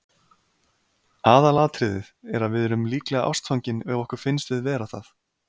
Aðalatriðið er að við erum líklega ástfangin ef okkur finnst við vera það!